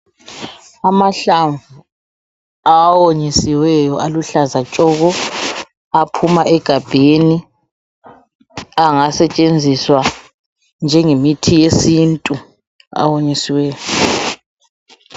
Amahlamvu awonyisiweyo aluhlaza tshoko aphuma egabheni angasetshenziswa njengemithi yesintu awonyisiweyo.